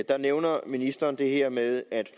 der nævner ministeren det her med at